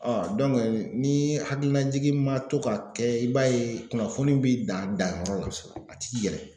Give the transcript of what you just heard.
ni hakilinajigi ma to ka kɛ i b'a ye kunnafoni bi dan danyɔrɔ la a ti yɛlɛ